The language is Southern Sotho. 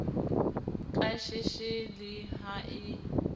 ka sheshe le ha e